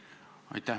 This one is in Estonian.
Aitäh!